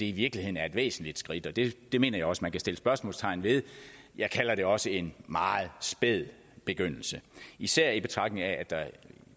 i virkeligheden er et væsentligt skridt og det det mener jeg også man kan sætte spørgsmålstegn ved jeg kalder det også en meget spæd begyndelse især i betragtning af at der